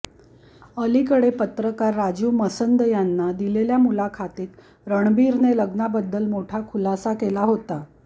अलीकडे पत्रकार राजीव मसंद यांना दिलेल्या मुलाखतीत रणबीरने लग्नाबद्दल मोठा खुलासा केला होता